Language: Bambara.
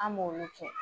An b'olu kɛ